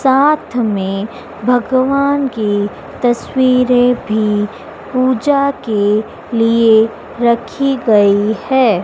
साथ में भगवान की तस्वीरें भीं पूजा के लिए रखीं गई हैं।